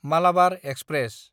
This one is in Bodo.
मालाबार एक्सप्रेस